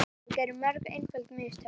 Þeir gerðu mörg einföld mistök.